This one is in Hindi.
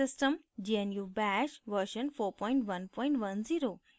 * gnu bash version 4110